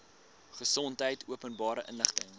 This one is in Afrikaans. gesondheid openbare inligting